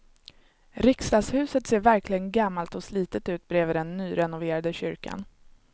Riksdagshuset ser verkligen gammalt och slitet ut bredvid den nyrenoverade kyrkan.